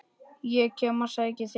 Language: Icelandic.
Ég kem og sæki þig!